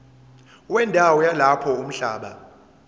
wendawo yalapho umhlaba